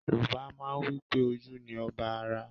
Yorùbá má ń wípé “ ojú ni ọba ara”.